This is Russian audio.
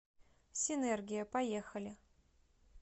синергия поехали